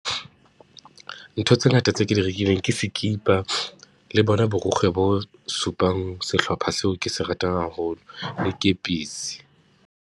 Ntho tse ngata tse ke di rekileng ke sikipa, le bona borikgwe bo supang sehlopha seo ke se ratang haholo, le kepisi.